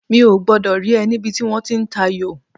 Mi ò gbọ́dọ̀ rí ẹ níbi tí wọ́n ti ń tayò